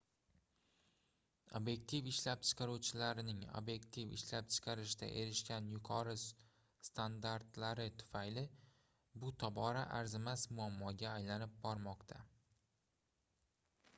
obyektiv ishlab chiqaruvchilarning obyektiv ishlab chiqarishda erishgan yuqori standartlari tufayli bu tobora arzimas muammoga aylanib bormoqda